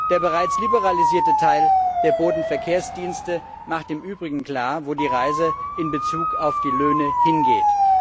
Der bereits liberalisierte Teil der Bodenverkehrsdienste macht im Übrigen klar, wo die Reise in Bezug auf die Löhne hingeht.